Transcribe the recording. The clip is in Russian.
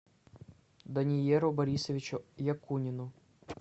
дониеру борисовичу якунину